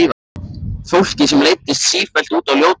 Fólki sem leiddist sífellt út á ljótari brautir.